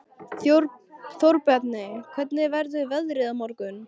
Þórbjarni, hvernig verður veðrið á morgun?